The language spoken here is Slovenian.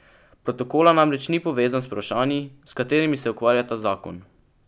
Protokola namreč ni povezan z vprašanji, s katerimi se ukvarja ta zakon.